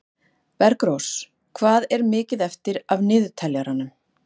Bergrós, hvað er mikið eftir af niðurteljaranum?